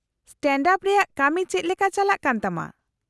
-Stand-up ᱨᱮᱭᱟᱜ ᱠᱟᱢᱤ ᱪᱮᱫ ᱞᱮᱠᱟ ᱪᱟᱞᱟᱜ ᱠᱟᱱ ᱛᱟᱢᱟ ?